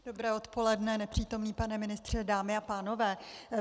Dobré odpoledne, nepřítomný pane ministře, dámy a pánové.